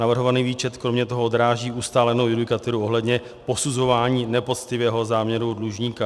Navrhovaný výčet kromě toho odráží ustálenou judikaturu ohledně posuzování nepoctivého záměru dlužníka.